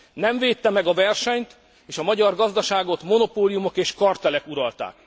Nem védte meg a versenyt, és a magyar gazdaságot monopóliumok és kartellek uralták.